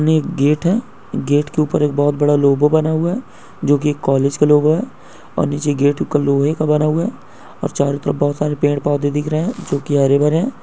gate है gate के ऊपर एक बहुत बड़ा लोगों बना हुआ है जो की कॉलेज का लोगो है और नीचे गेट का लोहे का बना हुआ हैऔर चारों तरफ बहुत सारे पेड़ पौधे दिख रहे हैं जो की हरे भरे--